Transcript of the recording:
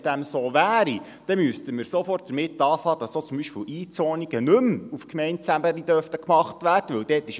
Wenn dem so wäre, müsste man sofort festlegen, dass zum Beispiel Einzonungen nicht mehr auf Gemeindeebene vorgenommen werden dürfen.